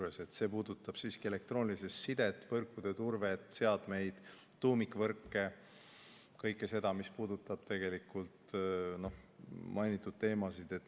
See puudutab siiski elektroonilist sidet, võrkude turvet, seadmeid, tuumikvõrke ja kõike seda, mis puudutab mainitud teemasid.